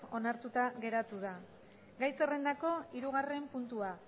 onartuta geratu da gai zerrendako hirugarren puntua